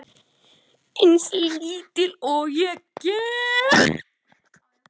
Eins lítil og ég get.